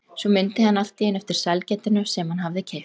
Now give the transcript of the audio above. Svo mundi hann allt í einu eftir sælgætinu sem hann hafði keypt.